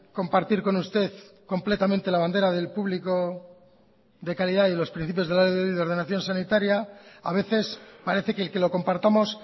compartir con usted completamente la bandera del público de calidad y los principios de la ley de ordenación sanitaria a veces parece que el que lo compartamos